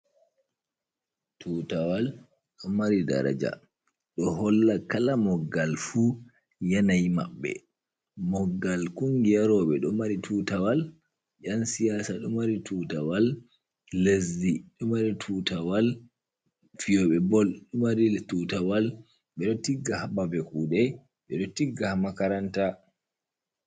Tutawal ɗo mari daraja ɗo holla kala moggal fu yanayi maɓɓe moggal kungiya rewɓe ɗo mari tutawal ƴan siyasa ɗo mari tutawal lezdi ɗomari tutawal fiyoɓe bol ɗo mari tutawal ɓeɗo tigga hababe kuɗe ɓe ɗo tigga ha makaranta.